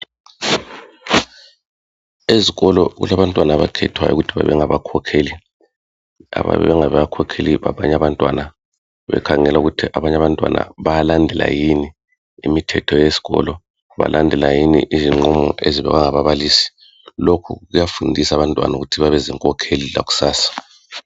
Ezikolo kulabantwana abakhethwayo ukuthi babe ngabakhokheli. Bayabe bengabakhokheli babanye abantwana bekhangela ukuthi abanye abantwana bayalandela yini imithetho yesikolo kanye lezinqumo ezenziwa ngababalisi. Lokhu kuyafundisa abantwana ukuthi bebezinkokheli zakusasa